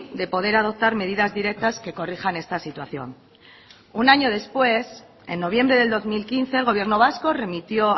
de poder adoptar medidas directas que corrijan esta situación un año después en noviembre del dos mil quince el gobierno vasco remitió